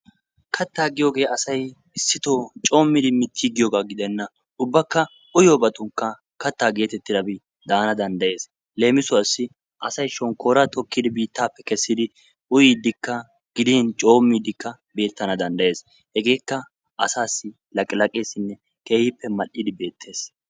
Katta giyooge asay issittoo coommidi mittigiyooba gidena. Ubbakka uyyiyoobatunkka katta getettidabi daana danddayees. Leemisuwassi asay shonkkora tokkidi biittappe kessidi uyyidikka gidin coommidikka beettana danddayees. Hegakka asassi laqilaqqessinne keehippe mal"idi beettees.